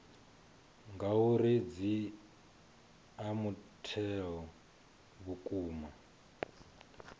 ngauri dzi ea mutheo vhukuma